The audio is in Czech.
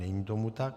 Není tomu tak.